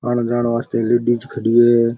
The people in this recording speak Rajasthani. आने जाने वास्ते लेडीज खड़ी है।